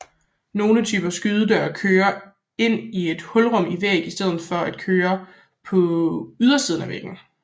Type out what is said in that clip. Nogle typer skydedøre kører ind i et hulrum i væggen i stedet for at kør på ydersiden af væggen